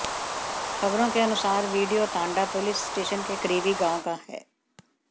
खबरों के अनुसार वीडियो तांडा पुलिस स्टेशन के करीबी गांव का है